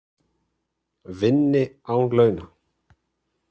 Vinni án launa